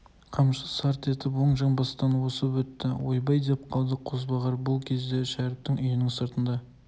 қамшы шарт етіп оң жамбастан осып өтті ойбай деп қалды қозбағар бұл кезде шәріптің үйінің сыртында